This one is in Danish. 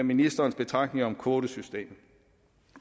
ministerens betragtninger om kvoteystemet